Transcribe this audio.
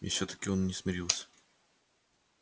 и все таки он не смирился